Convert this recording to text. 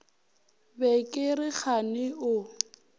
be ke re kgane o